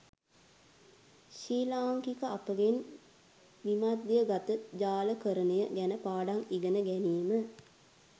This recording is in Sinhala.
ශ්‍රී ලාංකික අපගෙන් විමධ්‍යගත ජාලකරණය ගැන පාඩම් ඉගෙන ගැනීම